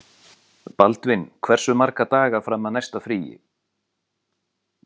Baldvin, hversu marga daga fram að næsta fríi?